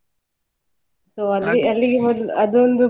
So ಅಲ್ಲಿ ಅಲ್ಲಿಗೆ ಮೊದ್ಲು ಅದೊಂದು